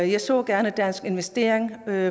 jeg ser gerne danske investeringer